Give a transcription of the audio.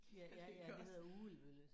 Ja ja ja det hedder Ugelbølle